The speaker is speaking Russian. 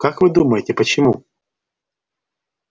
как вы думаете почему